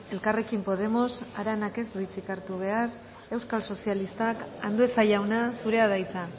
elkarrekin podemos aranak ez du hitzik hartu behar euskal sozialistak andueza jauna zurea da hitza